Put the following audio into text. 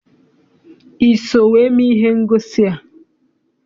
I so wee mee ihe ngosi a?